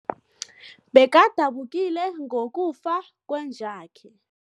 Bekadabukile ngokufa kwenja yakhe.